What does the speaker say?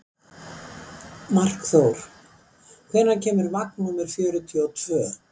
Markþór, hvenær kemur vagn númer fjörutíu og tvö?